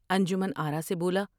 انجمن آرا سے بولا ۔